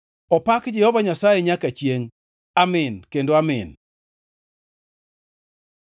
Opak Jehova Nyasaye nyaka chiengʼ! Amin kendo Amin.